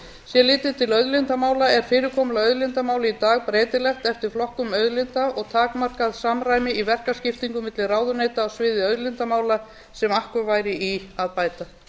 sé litið til auðlindamála er fyrirkomulag auðlindamála í dag breytilegt eftir flokkum auðlinda og takmarkað samræmi í verkaskiptum milli ráðuneyta á sviði auðlindamála sem akkur væri í að bæta